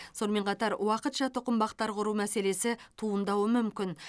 сонымен қатар уақытша тұқымбақтар құру мәселесі туындауы мүмкін